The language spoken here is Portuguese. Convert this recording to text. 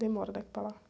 Demora daqui para lá.